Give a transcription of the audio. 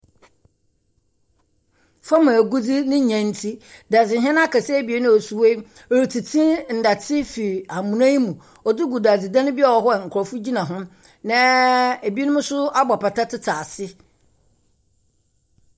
Fam agudze ne nya nti dadze hene akɛse abien a wɔsi hɔ yi retete ndɛtse firi amona yi mu ɔde regu dadze dan a ɔwɔ hɔ a nkurɔfo gyina ho na ebinom nso abɔ apata tete ase.